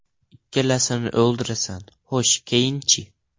Ikkalasini o‘ldirasan, xo‘sh keyinchi?